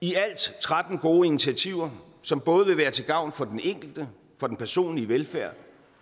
i alt tretten gode initiativer som både vil være til gavn for den enkelte for den personlige velfærd